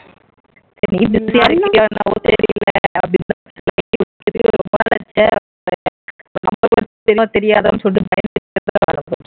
சரி நீ busy யா இருப்பியா என்னன்னு தெரியல தெரியுமோ தெரியாதுன்னு சொல்லிட்டு